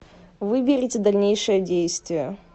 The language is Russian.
выберите дальнейшее действие